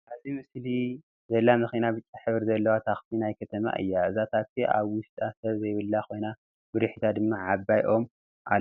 አብዚ ምስሊ ዘላ መኪና ብጫ ሕብሪ ዘለዋ ታክሲ ናይ ከተማ እያ፡፡ እዛ ታክሲ አብ ውሽጣ ሰብ ዘይብላ ኮይና ብድሕሪታ ድማ ዓብይ ኦም አሎ፡፡